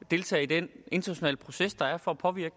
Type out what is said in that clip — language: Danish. deltage i den internationale proces der er for at påvirke